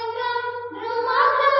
सुहासिनीं सुमधुर भाषिणीं